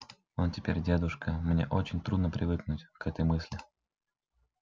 он теперь дедушка мне очень трудно привыкнуть к этой мысли